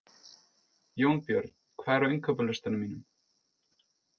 Jónbjörn, hvað er á innkaupalistanum mínum?